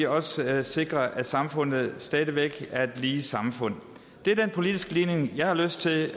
også sikrer at samfundet stadig væk er et lige samfund det er den politiske ligning jeg har lyst til